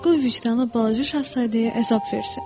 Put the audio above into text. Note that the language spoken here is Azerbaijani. Qoy vicdanı balaca şahzadəyə əzab versin.